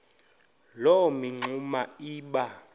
loo mingxuma iba